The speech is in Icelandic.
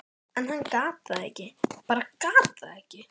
en hann gat það ekki, bara gat það ekki.